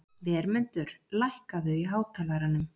Vermundur, lækkaðu í hátalaranum.